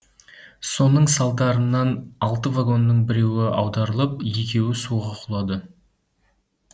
соның салдарынан алты вагонның біреуі аударылып екеуі суға құлады